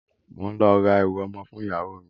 Mo n lọ ra ẹrú ọmọ fún ìyáwo mi.